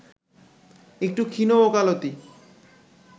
একটু ক্ষীণ ওকালতি